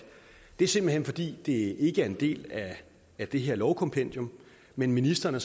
det simpelt hen er fordi det ikke er en del af det her lovkompendium men ministeren er